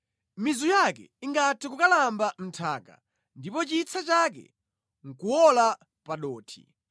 Mizu yake ingathe kukalamba mʼnthaka ndipo chitsa chake nʼkuwola pa dothi,